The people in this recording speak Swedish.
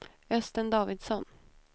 Östen Davidsson